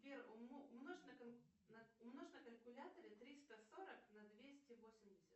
сбер умножь на калькуляторе триста сорок на двести восемьдесят